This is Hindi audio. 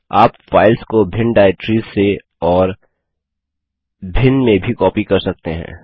आप फाइल्स को भिन्न डाइरेक्टरिस से और भिन्न में भी कॉपी कर सकते हैं